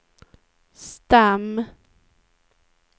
stam